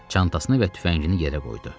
Çantasını və tüfəngini yerə qoydu.